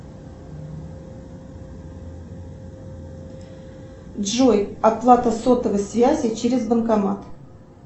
джой оплата сотовой связи через банкомат